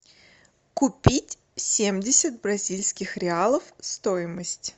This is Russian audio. купить семьдесят бразильских реалов стоимость